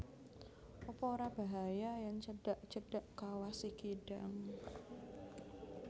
Apa ora bahaya yen cedak cedak Kawah Sikidang